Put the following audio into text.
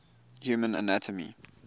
human anatomy